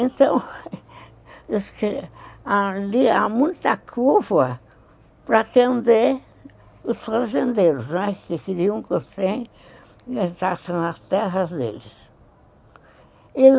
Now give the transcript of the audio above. Então, isso que, ali há muita curva para atender os fazendeiros, não é? que queriam que o trem entrasse nas terras deles.